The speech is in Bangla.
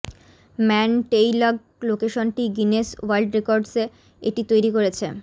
ম্যান টেইলগ লোকেশনটি গিনেস ওয়ার্ল্ড রেকর্ডসে এটি তৈরি করেছে